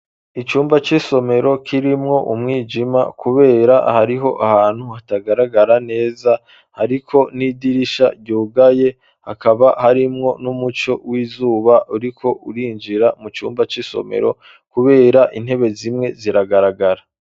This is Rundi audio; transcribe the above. Icumba, c'isomero, kirimwo umwijima, kubera, hariho ahantu, hatagaragara neza; hariko n'idirisha, ryugaye, hakaba harimwo, n'umuco w'izuba, uriko urinjira mu cumba c'isomero, kubera, intebe zimwe, ziragaragara.